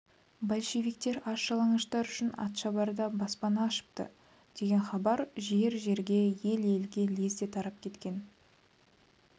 большевиктер аш-жалаңаштар үшін атшабарда баспана ашыпты деген хабар жер-жерге ел-елге лезде тарап кеткен